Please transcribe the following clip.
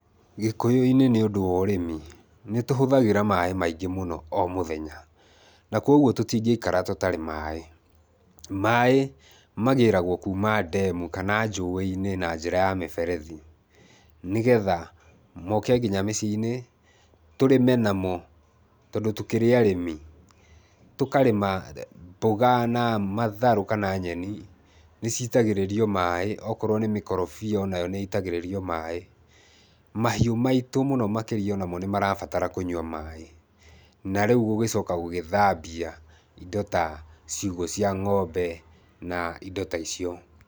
Gĩkũyũ-inĩ nĩ ũndũ wa ũrĩmi, nĩ tũhũthagĩra maaĩ maingĩ mũno o mũthenya, na kwoguo tũtingĩikara tũtarĩ maaĩ. Maaĩ magĩraguo kuuma ndemu kana njũĩ-inĩ na njĩra ya mĩberethi, nĩgetha moke nginya mĩciĩ-inĩ, tũrĩme namo tondũ tũkĩrĩ arĩmi. Tũkarĩma mboga na matharũ kana nyeni, nĩ citagĩrĩrio maaĩ. Okorwo nĩ mĩkorobia o nayo nĩ itagĩrĩrio maaĩ. Mahiũ maitũ mũno makĩria o namo nĩ marabatara kũnyua maaĩ, na rĩu gũgĩcoka gũgĩthambia indo ta ciugũ cia ng'ombe na indo ta icio.